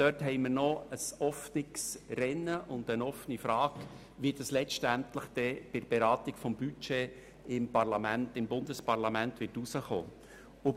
Dort ist also das Rennen beziehungsweise die Frage noch offen, was letztlich bei der Beratung des Budgets im Bundesparlament herauskommen wird.